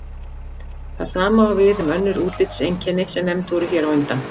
Það sama á við um önnur útlitseinkenni sem nefnd voru hér á undan.